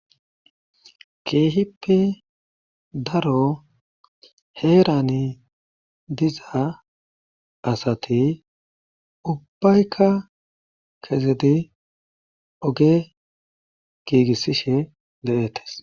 Keehippe daro heeran diza asayobubbayka kezid oge giigisishe de'etesi.